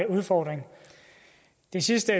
udfordring det sidste